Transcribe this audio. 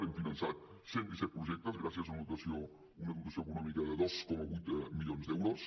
hem finançat cent i disset projectes gràcies a una dotació econòmica de dos coma vuit milions d’euros